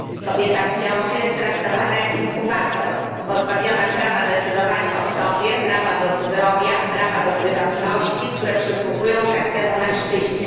Kobieta w ciąży jest traktowana jak inkubator, pozbawiona prawa decydowania o sobie, prawa do zdrowia i prywatności, które przysługują każdemu mężczyźnie.